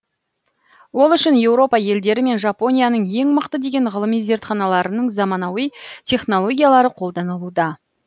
ол үшін еуропа елдері мен жапонияның ең мықты деген ғылыми зертханаларының заманауи технологиялары қолданылуда